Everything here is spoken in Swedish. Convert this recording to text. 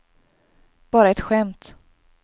bara ett skämt